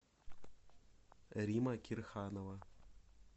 римма кирханова